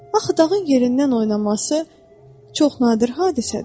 Axı dağın yerindən oynaması, çox nadir hadisədir.